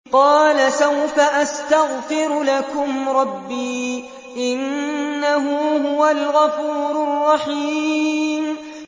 قَالَ سَوْفَ أَسْتَغْفِرُ لَكُمْ رَبِّي ۖ إِنَّهُ هُوَ الْغَفُورُ الرَّحِيمُ